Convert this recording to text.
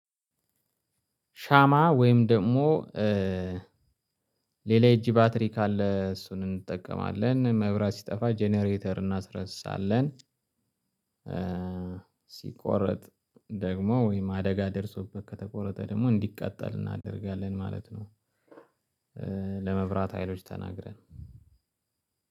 ሻማ ወይም ደግሞ ሌላ የእጅ ባትሪ ካለ እሱን እንጠቀማለን፤ መብራት ሲጠፋ ጀነሬተር እናስነሳለን። ሲቆረጥ ደግሞ ወይም አደጋ ደርሶበት ከተቆረጠ ደግሞ እንዲቃጠል እናደርጋለን ማለት ነው፤ ለመብራት ሀይሎች ተናግረን